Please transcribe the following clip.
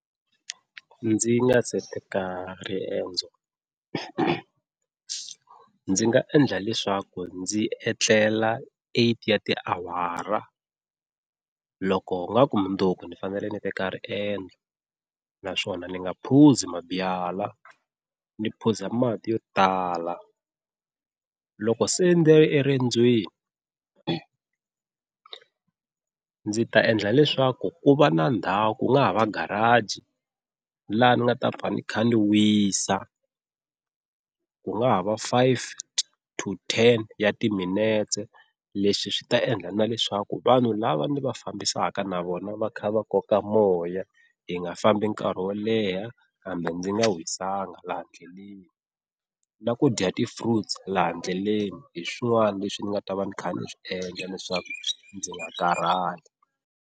Ndzi nga se teka riendzo ndzi nga endla leswaku ndzi etlela eight ya ti awara loko ingaku mundzuku ni fanele ni teka riendzo, naswona ni nga phuzi mabyalwa ni phuza mati yo tala. Loko se ndzi ri erendzweni ndzi ta endla leswaku ku va na ndhawu ku nga ha va garage laha ni nga ta va ni kha ni wisa ku nga ha va five to ten ya timinetse. Leswi swi ta endla na leswaku vanhu lava ni va fambisaka na vona va kha va koka moya hi nga fambi nkarhi wo leha kambe ndzi nga wisanga laha ndleleni na ku dya ti-fruits laha ndleleni hi swin'wana leswi ni nga ta va ni kha ni swi endla leswaku ndzi nga karhali.